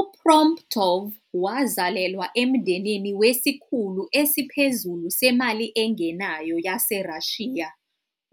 U-Promptov wazalelwa emndenini wesikhulu esiphezulu semali engenayo yaseRussia.